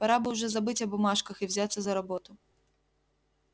пора бы уже забыть о бумажках и взяться за работу